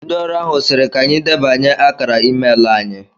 Ndị ọrụ ahụ sịrị ka anyị idebanye akara i-meelụ anyị